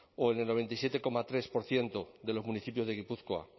o en el noventa y siete coma tres por ciento de los municipios de gipuzkoa